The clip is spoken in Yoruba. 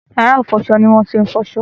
Yàrá-ìfọṣọ ni wọ́n ti ń fọṣọ.